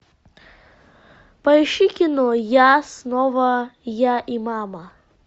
поищи кино я снова я и мама